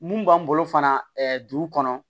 Mun b'an bolo fana dugu kɔnɔ